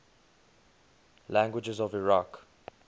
languages of iraq